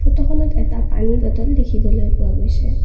ফটোখনত এটা পানীৰ বটল দেখিবলৈ পোৱা গৈছে।